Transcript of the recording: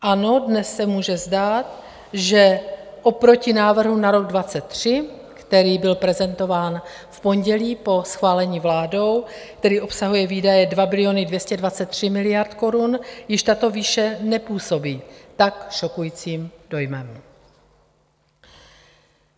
Ano, dnes se může zdát, že oproti návrhu na rok 2023, který byl prezentován v pondělí po schválení vládou, který obsahuje výdaje 2 biliony 223 miliard korun, již tato výše nepůsobí tak šokujícím dojmem.